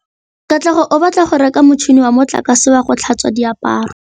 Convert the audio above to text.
Katlego o batla go reka motšhine wa motlakase wa go tlhatswa diaparo.